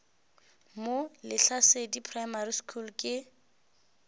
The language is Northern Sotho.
mo lehlasedi primary school ke